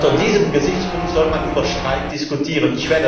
Unter diesem Gesichtspunkt soll man über Streik diskutieren.